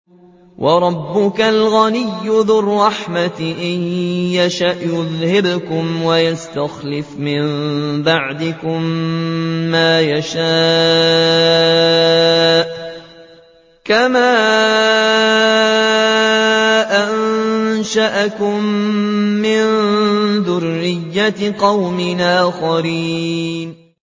وَرَبُّكَ الْغَنِيُّ ذُو الرَّحْمَةِ ۚ إِن يَشَأْ يُذْهِبْكُمْ وَيَسْتَخْلِفْ مِن بَعْدِكُم مَّا يَشَاءُ كَمَا أَنشَأَكُم مِّن ذُرِّيَّةِ قَوْمٍ آخَرِينَ